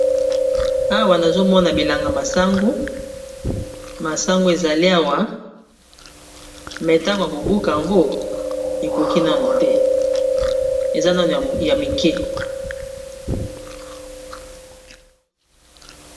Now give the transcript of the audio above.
Awa nazomona bilanga masangu, masangu ezali awa me ntango ya kobuka ango ekoki nano te eza nano ya mike.